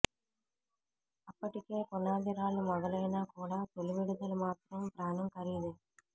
అప్పటికే పునాది రాళ్లు మొదలైనా కూడా తొలి విడుదల మాత్రం ప్రాణం ఖరీదే